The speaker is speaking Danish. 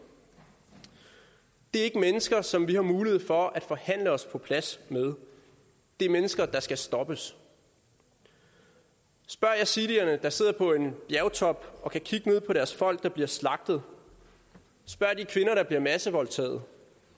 det er ikke mennesker som vi har mulighed for at forhandle os på plads med det er mennesker der skal stoppes spørg yazidierne der sidder på en bjergtop og kan kigge ned på deres folk der bliver slagtet spørg de kvinder der bliver massevoldtaget